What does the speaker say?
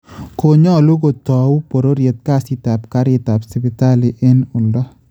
konyolu kotou bororyet kasit ap Karit ap Sipitali en oldo